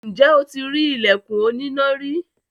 Ǹjẹ́ o ti rí “ ìlẹ̀kùn oníná” rí?